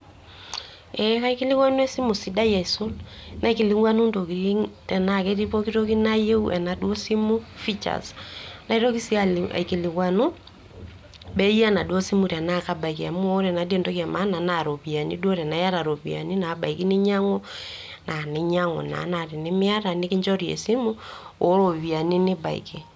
Eeh kaikilikuanu esimu sidai aisul, naikilikuanu ntokitin tenaake eti pooki toki nayeu tenaduo simu features, naitoki sii aikilikuanu bei enaduo simu tenaake abaiki amu ore naadii entoki e maana naa iropiani duo tenaye iata ropiani nabaiki ninyang'u naa ninyang'u naa, naa tenemiata nikinjori esimu o roiani nibaiki.